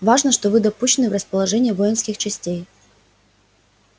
важно что вы допущены в расположение воинских частей